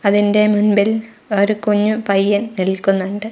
അതിന്റെ മുൻപിൽ ഒരു കുഞ്ഞു പയ്യൻ നിൽക്കുന്നുണ്ട്.